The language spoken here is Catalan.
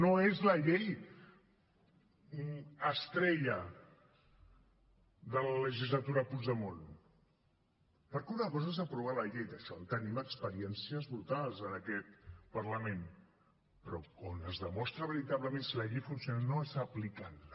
no és la llei estrella de la legislatura puigdemont perquè una cosa és aprovar la llei d’això en tenim experiències brutals en aquest parlament però on es demostra veritablement si la llei funciona no és aplicant la